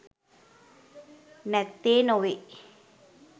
නැත්තේ නොවේ.